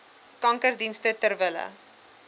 kankerdienste ter wille